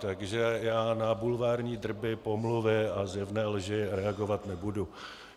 Takže já na bulvární drby, pomluvy a zjevné lži reagovat nebudu.